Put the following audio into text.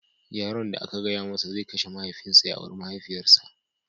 Yaron da aka gaya masa zai kashe mahaifinsa ya auri mahaifiyarsa